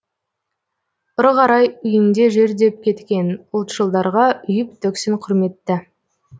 ұры қары үйіңде жүр деп кеткен ұлтшылдарға үйіп төксін құрметті